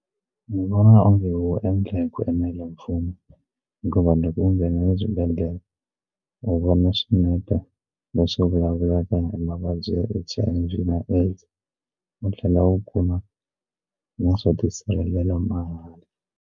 U vona onge wu endla hi ku enela mfumo hi ku vanhu loko va nghena swibedhlele va vona swinepe leswi vulavulaka na mavabyi ya H_I_V na AIDS u tlhela u kuma na swo tisirhelela mahala.